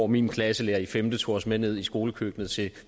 min klasselærer i femte klasse tog os med ned i skolekøkkenet til